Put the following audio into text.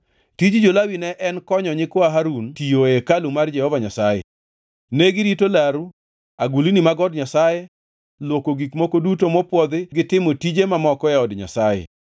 Tij jo-Lawi ne en konyo nyikwa Harun tiyo e hekalu mar Jehova Nyasaye. Negirito laru, agulni mag od Nyasaye, luoko gik moko duto mopwodhi to gi timo tije mamoko e od Nyasaye.